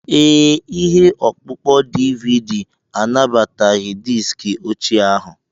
Ee, ihe ọkpụkpọ DVD anabataghị diski ochie ahụ.